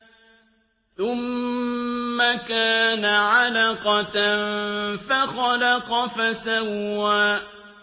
ثُمَّ كَانَ عَلَقَةً فَخَلَقَ فَسَوَّىٰ